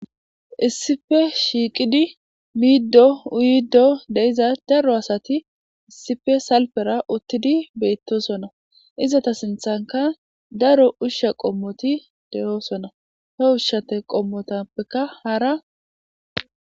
Issife shiiqidi miiddo uyddo deiza daro asati issife salpera uttidi beyttosona izata sinthanka daro ushsha qommoti de'oosona he ushshate qommotappeka haara.